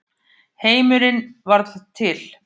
Heimurinn varð til.